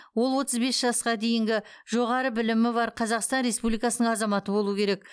ол отыз бес жасқа дейінгі жоғары білімі бар қазақстан республикасының азаматы болуы керек